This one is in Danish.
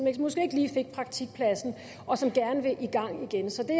måske ikke lige fik praktikpladsen og som gerne vil i gang igen så det